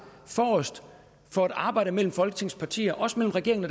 forrest for det arbejde mellem folketingets partier også mellem regeringen